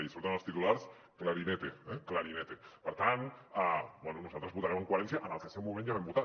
i surt en els titulars clarinete per tant bé nosaltres votarem en coherència amb el que en el seu moment ja vam votar